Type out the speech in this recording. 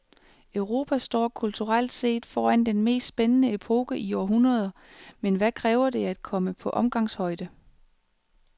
Europa står kulturelt set foran den mest spændende epoke i århundreder, men hvad kræver det at komme på omgangshøjde?